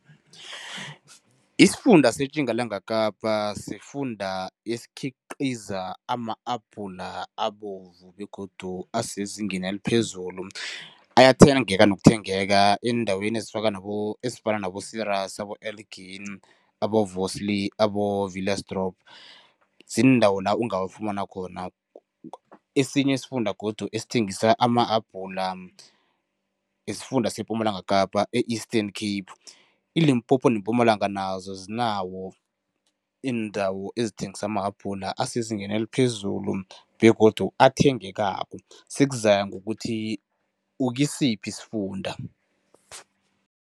Isifunda seTjingalanga Kapa sifunda esikhiqiza ama-apula abovu begodu asezingeni eliphezulu. Ayathengeka nokuthengeka eendaweni ezifaka nabo ezifana nabo abo-Villiersdorp ziindawo la ungawafumana khona. Esinye isifunda godu esithengisa ama-abhula isifunda sePumalanga Kapa e-Eastern Cape. iLimpopo neMpumalanga zinawo iindawo ezithengisa amahabhula asezingeni eliphezulu begodu athengekako, sukuzaya ngokuthi ukusiphi isifunda.